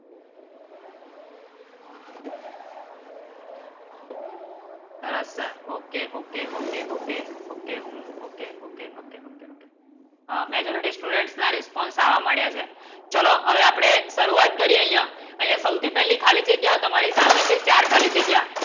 સરસ sir Okay Okay Okay Okay Okay હું Okay Okay Okay Okay Okay હા Majority Student ના Response આવા મળ્યા છે ચલો હવે આપડે સુરુવાત કરીએ અહીંયા અહીંયા સૌથી પેહલા ખાલી જગ્યા તમારી સામે સે ચાર ખાલી જગ્યા.